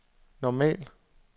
normal